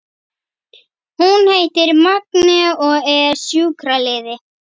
Hún heitir Magnea og er sjúkraliði.